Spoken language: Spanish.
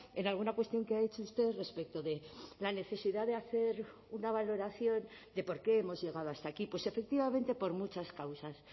en alguna cuestión que ha hecho usted respecto de la necesidad de hacer una valoración de por qué hemos llegado hasta aquí pues efectivamente por muchas causas